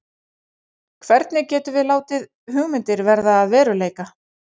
Hvernig getum við látið hugmyndir verða að veruleika?